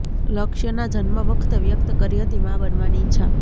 લક્ષ્યના જન્મ વખતે વ્યક્ત કરી હતી મા બનવાની ઈચ્છા